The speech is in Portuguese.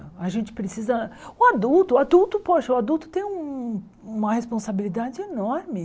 A gente precisa o adulto... O adulto, poxa, o adulto tem um uma responsabilidade enorme.